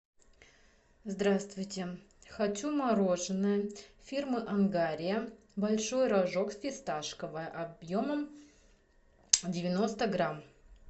здравствуйте хочу мороженое фирмы ангария большой рожок фисташковое объемом девяносто грамм